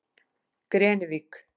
Grenivík